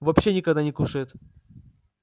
вообще никогда не кушает